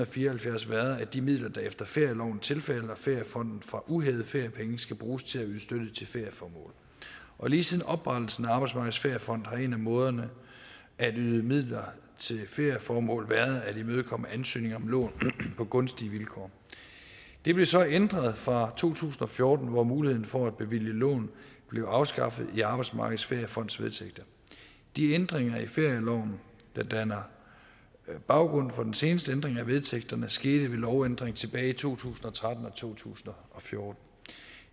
fire og halvfjerds været at de midler der efter ferieloven tilfalder feriefonden fra uhævede feriepenge skal bruges til at yde støtte til ferieformål og lige siden oprettelsen af arbejdsmarkedets feriefond har en af måderne at yde midler til ferieformål på været at imødekomme ansøgninger om lån på gunstige vilkår det blev så ændret fra to tusind og fjorten hvor muligheden for at bevilge lån blev afskaffet i arbejdsmarkedets feriefonds vedtægter de ændringer i ferieloven der danner baggrund for den seneste ændring af vedtægterne skete ved lovændring tilbage i to tusind og tretten og to tusind og fjorten